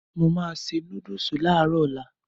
Mo máa se núdùsù láàárọ̀ ọ̀la.